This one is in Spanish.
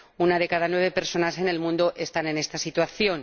Una de cada nueve personas en el mundo está en esta situación.